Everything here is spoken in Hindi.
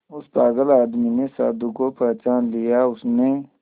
उस पागल आदमी ने साधु को पहचान लिया उसने